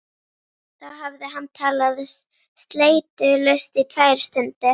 Þá hafði hann talað sleitulaust í tvær stundir.